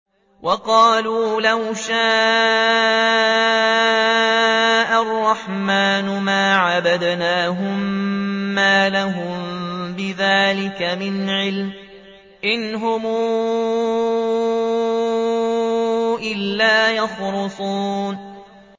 وَقَالُوا لَوْ شَاءَ الرَّحْمَٰنُ مَا عَبَدْنَاهُم ۗ مَّا لَهُم بِذَٰلِكَ مِنْ عِلْمٍ ۖ إِنْ هُمْ إِلَّا يَخْرُصُونَ